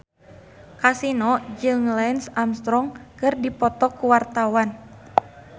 Kasino jeung Lance Armstrong keur dipoto ku wartawan